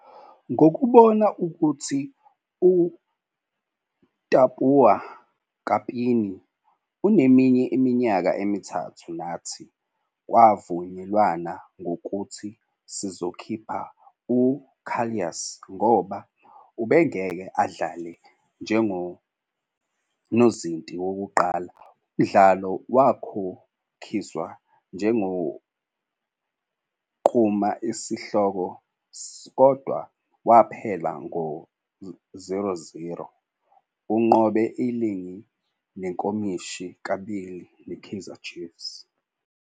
"Ngokubona ukuthi uTapuwa Kapini uneminye iminyaka emithathu nathi, kwavunyelwana ngokuthi sizokhipha u-'Casillas ' ngoba ubengeke adlale njengonozinti wokuqala. Umdlalo wakhokhiswa njengonquma isihloko kodwa waphela ngo-0-0. Unqobe iligi nenkomishi kabili neChiefs.